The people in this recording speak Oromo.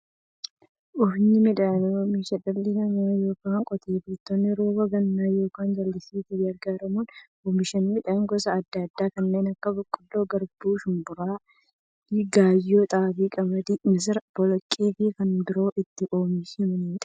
Oomishni midhaanii, oomisha dhalli namaa yookiin Qotee bultoonni rooba gannaa yookiin jallisiitti gargaaramuun oomisha midhaan gosa adda addaa kanneen akka; boqqolloo, garbuu, shumburaa, gaayyoo, xaafii, qamadii, misira, boloqqeefi kanneen biroo itti oomishamiidha.